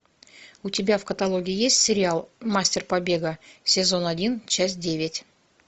у тебя в каталоге есть сериал мастер побега сезон один часть девять